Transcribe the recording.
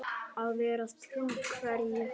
Að vera trú hverju?